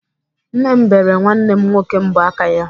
Nne m bere nwanne m nwoke mbọ aka ya.